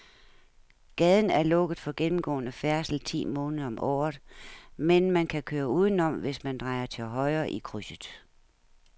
Gaden er lukket for gennemgående færdsel ti måneder om året, men man kan køre udenom, hvis man drejer til højre i krydset.